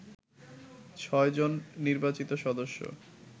৬ জন নির্বাচিত সদস্য